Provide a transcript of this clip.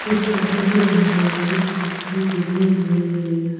उस ऑटो के अंदर कुछ व्यक्ति बैठे हुए हैं।